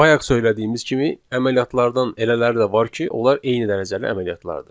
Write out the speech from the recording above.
Bayaq söylədiyimiz kimi, əməliyyatlardan elələri də var ki, onlar eyni dərəcəli əməliyyatlardır.